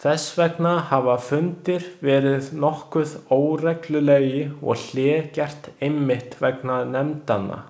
Þess vegna hafa fundir verið nokkuð óreglulegir og hlé gert einmitt vegna nefndanna.